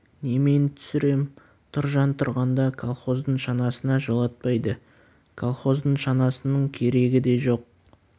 немен түсірем тұржан тұрғанда колхоздың шанасына жолатпайды колхоздың шанасының керегі де жоқ